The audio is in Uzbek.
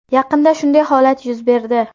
Yaqinda shunday holat yuz berdi.